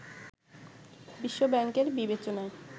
বিশ্ব ব্যাংকের বিবেচনায়